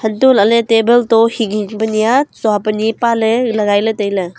untoh lah ley table to hing hing pa nyia tsua pa nyi pa ley lagai ley tailey.